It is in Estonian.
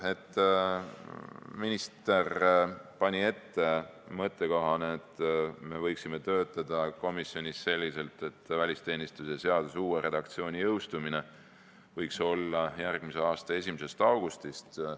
Minister pani mõttekohana ette, et me võiksime töötada komisjonis selliselt, et välisteenistuse seaduse uus redaktsioon võiks jõustuda järgmise aasta 1. augustist.